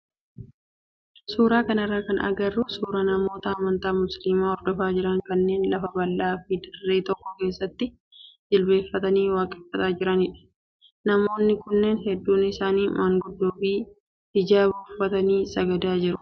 Suuraa kanarraa kan agarru suuraa namoota amantaa musliimaa hordofaa jiran kanneen lafa bal'aa fi dirree tokko keessatti jilbeeffatanii waaqeffataa jiranidha. Namoonni kunneen hedduun isaanii manguddoo fi hijaaba uffatanii sagadaa jiru.